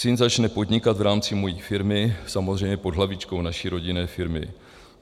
Syn začne podnikat v rámci mojí firmy, samozřejmě pod hlavičkou naší rodinné firmy.